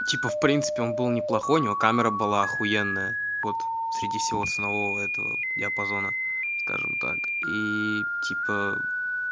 типа в принципе он был неплохой у него камера была ахуенная вот среди всего ценового этого диапазона скажем так ии типа